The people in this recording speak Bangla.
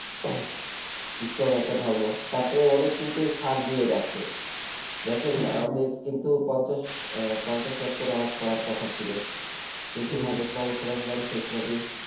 strong একটা ধর্ম তারপরেও অনেক কিন্তু ছাড় দিয়ে রাখছে দেখেন হ্যাঁ হ্যাঁ আমাদের কিন্তু পঞ্চাশ আহ পঞ্চাশ ওয়াক্ত নামাজ পড়ার কথা ছিল কিন্তু হ্যাঁ হাজরাত মোহাম্মদ সালাহ সালাম শেষ নবী